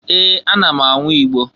Ee! Ana m anwụ Igbo.